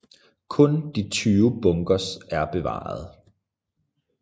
Kun de 20 bunkers er bevarede